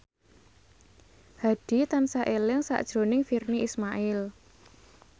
Hadi tansah eling sakjroning Virnie Ismail